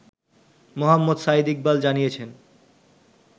মোহাম্মদ সাঈদ ইকবাল জানিয়েছেন